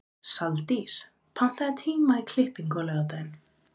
Saldís, pantaðu tíma í klippingu á laugardaginn.